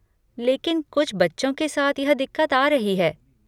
लेकिन कुछ बच्चों के साथ यह दिक्कत आ रही है।